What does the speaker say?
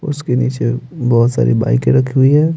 उसके नीचे बहुत सारी बाइकें रखी हुई हैं।